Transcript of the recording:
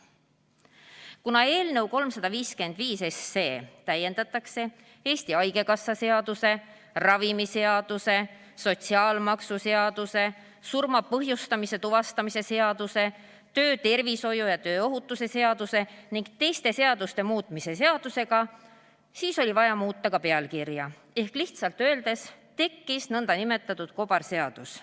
Kuna eelnõu 355 täiendatakse Eesti Haigekassa seaduse, ravimiseaduse, sotsiaalmaksuseaduse, surma põhjuse tuvastamise seaduse, töötervishoiu ja tööohutuse seaduse ning teiste seaduste muutmise seadusega, siis oli vaja muuta ka pealkirja ehk lihtsalt öeldes tekkis nn kobarseadus.